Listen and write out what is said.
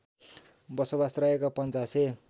बसोबास रहेको पञ्चासे